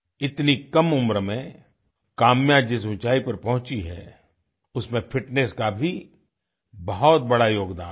इतनी कम उम्र में काम्या जिस ऊँचाई पर पहुंची है उसमें फिटनेस का भी बहुत बड़ा योगदान है